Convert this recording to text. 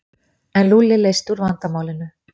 En Lúlli leysti úr vandamálinu.